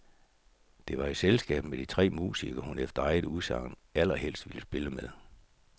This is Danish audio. Det var i selskab med de tre musikere, hun efter eget udsagn allerhelst vil spille med.